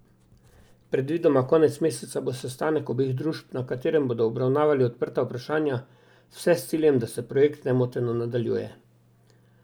Predvidoma konec meseca bo sestanek obeh družb, na katerem bodo obravnavali odprta vprašanja, vse s ciljem, da se projekt nemoteno nadaljuje.